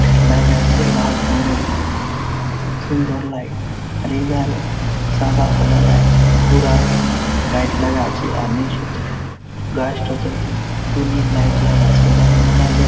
লাগা চে লাল রঙের খুব সুন্দর লাইট আর এই ধারে সাদা সাদা লাইট ঘুরা লাইট লাগা আছে আর নিচু গাছটাতে টুনি লাইট লাগা আছে এধারে মেলায় লোক।